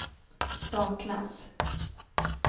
saknas